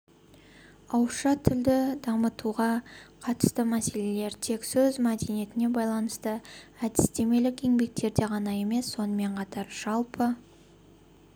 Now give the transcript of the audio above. ауызша тілді дамытуға қатысты мәселелер тек сөз мәдениетіне байланысты әдістемелік еңбектерде ғана емес сонымен қатар жалпы